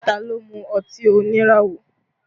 Ta ló mú ọtí oníràwọ̀?